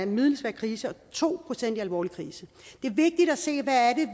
middelsvær krise og to procent alvorlig krise det er vigtigt at se hvad det